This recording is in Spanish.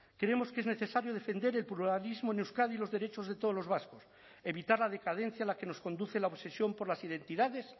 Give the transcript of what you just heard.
creemos que es necesario defender el pluralismo en euskadi y los derechos de todos los vascos evitar la decadencia a la que nos conduce la obsesión por las identidades